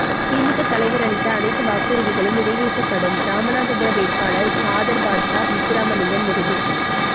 திமுக தலைவர் அளித்த அனைத்து வாக்குறுதிகளும் நிறைவேற்றப்படும் ராமநாதபுரம் வேட்பாளர் காதர்பாட்சா முத்துராமலிங்கம் உறுதி